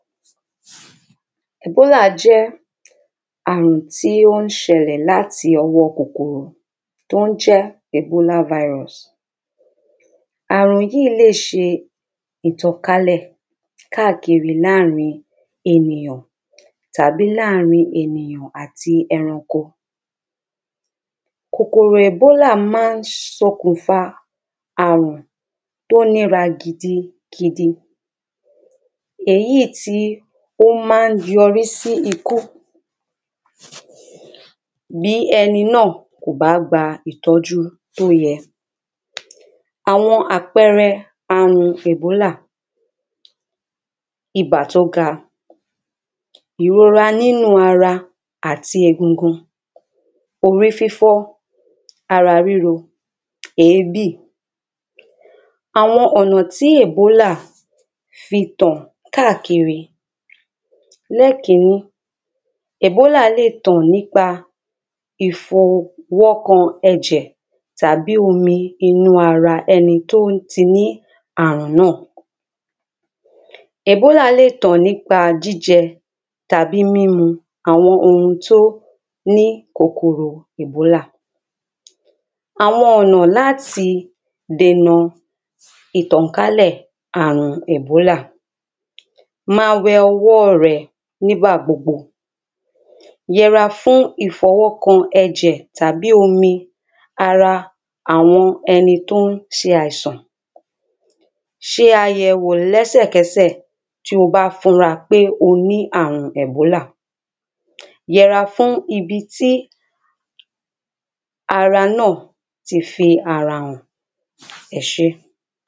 Ebola jẹ àrùn tí ó ń ṣẹlẹ̀ láti ọwọ́ kòkòrò tó ń jẹ́ ẹ̀bólà virus, àrùn yí lè se ìtànkálẹ̀ káàkiri l’áàrin ènìyàn tàbí l’áàrin ènìyàn àti ẹranko. Kòkòrò ẹ̀bólà ma ń ṣokùnfà àrùn tó lera gidigidi, èyí tí ó ma ń yọrí sí ikú bí ẹni náà kò bá gba ìtọ́jú tó yẹ. Àwọn àpẹrẹ àrùn ẹ̀bólà, ibà tó ga, ìrora nínu ara àti egungun, orí fífọ́, ara ríro, èébì. Àwọn ọ̀nà tí ẹ̀bólà fi tàn káàkiri. Ní kínní, ẹ̀bólà le tàn nípa ìfọwọ́kan ẹ̀jẹ̀ tàbí omi inú ara ẹni tí ó ti ní àrùn náà, ẹ̀bólà le tàn nípa jíjẹ tàbí mímu àwọn oun tó ní kòkòrò ẹ̀bólà. Àwọn ọ̀nà láti dènà ìtànkálẹ̀ àrùn ẹ̀bólà, ma wẹ ọwọ́ rẹ nígbà gbogbo, yẹ’ra fún ìfọwọ́kan ẹ̀jẹ̀ tàbí omi ara àwọn ẹni tí ó ń ṣe àìsàn, ṣe àyẹ̀wò l’ẹ́sẹ̀ kẹ́sẹ̀ tí o bá fura pé o ní àrun ẹ̀bólà, yẹ’ra fún ibi tí ara náà ti fi ara hàn. Ẹsẹ́.